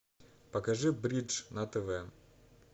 покажи бридж на тв